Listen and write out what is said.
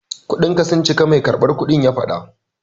Kudinka sun cika, mai karɓar kudin ya faɗa.